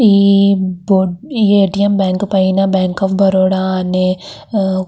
ఈ A T M bank పైన bank of Baroda అని ఆ --